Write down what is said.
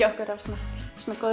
okkur af góðu